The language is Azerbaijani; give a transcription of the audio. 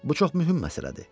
Bu çox mühüm məsələdir.